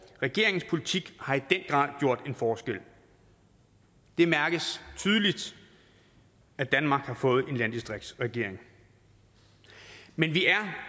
regeringens politik har i den grad gjort en forskel det mærkes tydeligt at danmark har fået en landdistriktsregering men vi er